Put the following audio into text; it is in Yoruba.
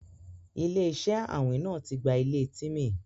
Ilẹ̀-iṣẹ àwìn náà tí gbà ilẹ̀ Tímí.